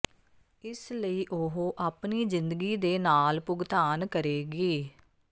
ਇਸ ਲਈ ਉਹ ਆਪਣੀ ਜਿੰਦਗੀ ਦੇ ਨਾਲ ਭੁਗਤਾਨ ਕਰੇਗੀ